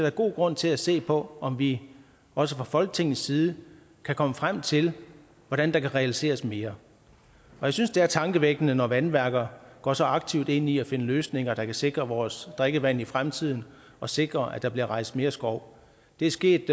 er god grund til at se på om vi også fra folketingets side kan komme frem til hvordan der kan realiseres mere og jeg synes det er tankevækkende når vandværker går så aktivt ind i at finde løsninger der kan sikre vores drikkevand i fremtiden og sikre at der bliver rejst mere skov det er sket